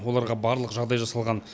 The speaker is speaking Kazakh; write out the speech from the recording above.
оларға барлық жағдай жасалған